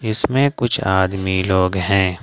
इसमें कुछ आदमी लोग हैं।